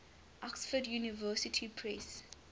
oxford university press